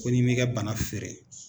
Ko n'i m'i ka bana feere